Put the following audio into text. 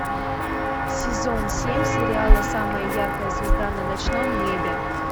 сезон семь сериала самая яркая звезда на ночном небе